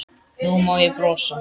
Nú má ég brosa.